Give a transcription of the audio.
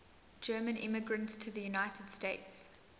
german immigrants to the united states